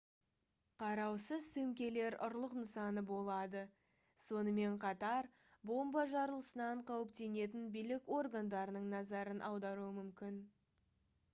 қараусыз сөмкелер ұрлық нысаны болады сонымен қатар бомба жарылысынан қауіптенетін билік органдарының назарын аударуы мүмкін